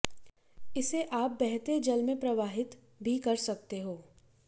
इसे आप बहते जल में प्रवाहित भी कर सकते हो